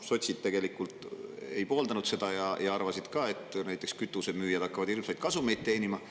Sotsid ka tegelikult ei pooldanud seda ja arvasid, et näiteks kütusemüüjad hakkavad hirmsaid kasumeid teenima.